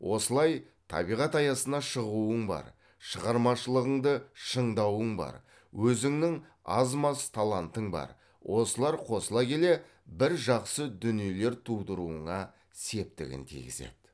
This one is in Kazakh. осылай табиғат аясына шығуың бар шығармашылығыңды шыңдауың бар өзіңнің аз маз талантың бар осылар қосыла келе бір жақсы дүниелер тудыруыңа септігін тигізеді